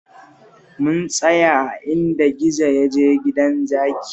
Mun tsaya a inda gizo ya je gidan zaki